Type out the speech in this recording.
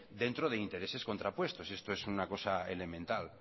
dentro de intereses contrapuestos esto es una cosa elemental